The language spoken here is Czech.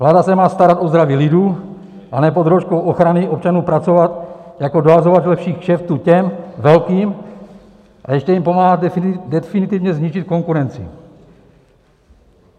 Vláda se má starat o zdraví lidu, a ne pod rouškou ochrany občanů pracovat jako dohazovač lepších kšeftů těm velkým, a ještě jim pomáhat definitivně zničit konkurenci.